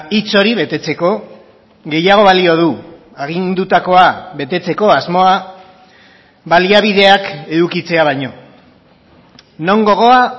hitz hori betetzeko gehiago balio du agindutakoa betetzeko asmoa baliabideak edukitzea baino non gogoa